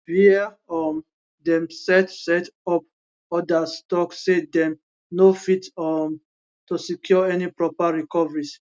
wia um dem set set up odas tok say dem no fit um to secure any proper recoveries